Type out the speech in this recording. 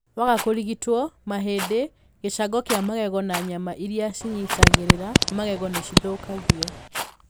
Waga kũrigitwo, mahĩndĩ, gĩcango kĩa magego na nyama iria cinyitagĩrĩra magego nĩ cithũkagio.